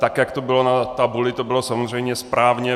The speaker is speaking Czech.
Tak jak to bylo na tabuli, to bylo samozřejmě správně.